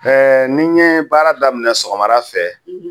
Ɛɛ nin ye baara daminɛ sɔgɔmada fɛ